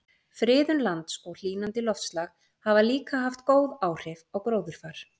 friðun lands og hlýnandi loftslag hafa líka haft góð áhrif á gróðurfar